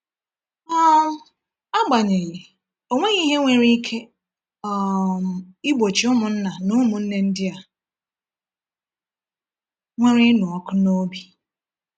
um Agbanyeghị, ọ nweghị ihe nwere ike um igbochi ụmụnna na ụmụnne ndị a nwere ịnụ ọkụ n’obi.